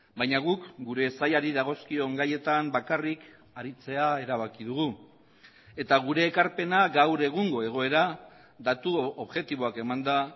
baina guk gure sailari dagozkion gaietan bakarrik aritzea erabaki dugu eta gure ekarpena gaur egungo egoera datu objektiboak emanda